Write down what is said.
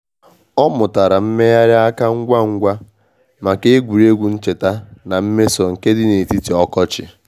Ọ mụtara mmegharị aka ngwa ngwa maka egwuregwu ncheta na mmeso nke di n'etiti ọkọchị.